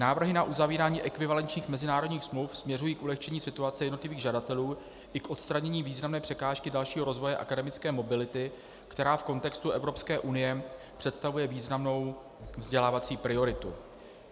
Návrhy na uzavírání ekvivalenčních mezinárodních smluv směřují k ulehčení situace jednotlivých žadatelů i k odstranění významné překážky dalšího rozvoje akademické mobility, která v kontextu Evropské unie představuje významnou vzdělávací prioritu.